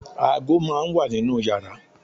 aago máà ń wà ninú yàrá